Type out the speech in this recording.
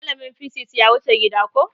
Malamin fisis ya wuce gida koh